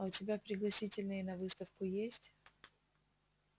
а у тебя пригласительные на выставку есть